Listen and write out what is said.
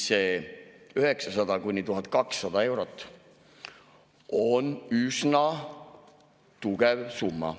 See 900–1200 eurot on üsna tugev summa.